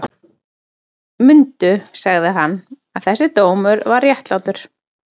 Mundu, sagði hann,-að þessi dómur var réttlátur.